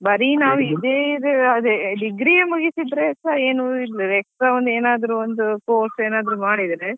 ಬರೀ ನಾವ್ ಇದೇ degree ಎ ಮುಗಿಸಿದ್ರೆಸಾ ಏನು extra ಏನಾದ್ರು ಒಂದು course ಏನಾದ್ರು ಮಾಡಿದ್ರೆ.